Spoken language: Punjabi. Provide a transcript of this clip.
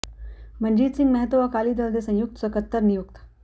ਮਨਜੀਤ ਸਿੰਘ ਮਹਿਤੋਂ ਅਕਾਲੀ ਦਲ ਦੇ ਸੰਯੁਕਤ ਸਕੱਤਰ ਨਿਯੁਕਤ